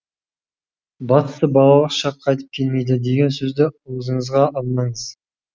бастысы балалық шақ қайтып келмейді деген сөзді аузыңызға алмаңыз